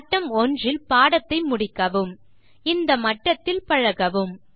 மட்டம் 1 இல் பாடத்தை முடிக்கவும்இந்த மட்டத்தில் பழகவும்